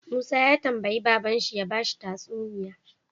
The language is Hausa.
Musa ya tambayi babban shi ya bashi tatsuniya